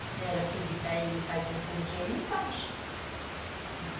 Se a senhora pedir para ele fazer um pudim, ele faz.